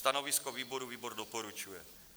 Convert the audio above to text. Stanovisko výboru: výbor doporučuje.